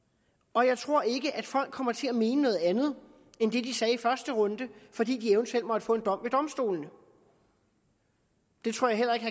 og jeg tror ikke at folk kommer til at mene noget andet end det de sagde i første runde fordi de eventuelt måtte få en dom ved domstolene det tror jeg heller ikke